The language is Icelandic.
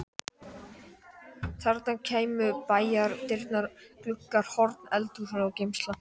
Þarna kæmu bæjardyrnar, gluggar, horn, eldhús og geymsla.